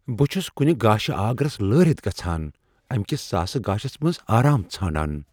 بہٕ چھُس كُنہِ گاشہِ آگرس لٲرِتھ گژھان ،امہِ كِس ساسہٕ گاشس منز آرام ژھاران ۔